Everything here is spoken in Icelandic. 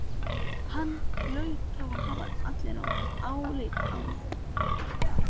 Hann hlaut þá að hafa álit á mér!